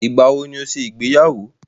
Ìgbàwo ni ó ṣe ìgbéyàwó?